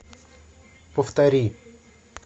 повтори